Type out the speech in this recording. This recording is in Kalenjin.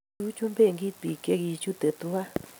kiichuchuch benkit biik che chutei tuwai